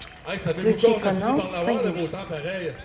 включи канал союз